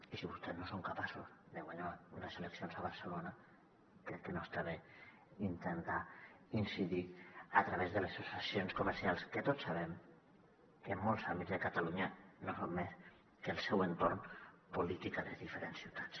i si vostès no són capaços de guanyar unes eleccions a barcelona crec que no està bé intentar incidir hi a través de les associacions comercials que tots sabem que en molts àmbits de catalunya no són més que el seu entorn polític a les diferents ciutats